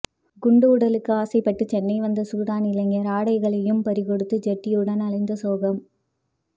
குண்டு உடலுக்கு ஆசைப்பட்டு சென்னை வந்த சூடான் இளைஞர் ஆடைகளையும் பறி கொடுத்து ஜட்டியுடன் அலைந்த சோகம்